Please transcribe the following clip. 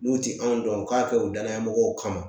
N'u tɛ anw dɔn u k'a kɛ u danaya mɔgɔw kama